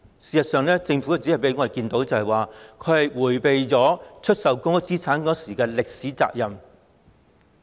事實上，我們只看到政府迴避出售公屋資產的歷史責任。